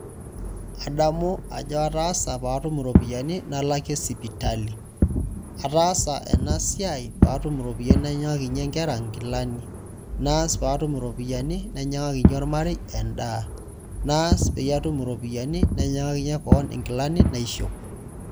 Adamu ajo ataasa patum iropiyiani nalakie sipitali ataasa enasiai patum iropiyani nainyangaki nkera nkilani naas patumb iropiyiani nainyangaki ormarei endaa naas peyie atum iropiyiani nainyangaki keon nkilani naishop.